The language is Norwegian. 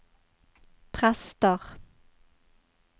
prester